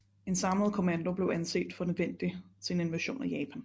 En samlet kommando blev anset for nødvendig til en invasion af Japan